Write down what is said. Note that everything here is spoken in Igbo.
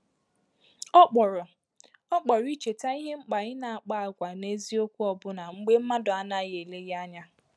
Ọ kpọrọ Ọ kpọrọ icheta ìhè mkpa i na-akpa àgwà n’eziokwu ọbụna mgbe mmadụ anaghi eleghị anya.